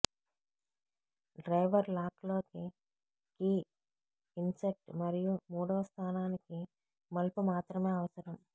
driver lock లోకి key insert మరియు మూడవ స్థానానికి మలుపు మాత్రమే అవసరం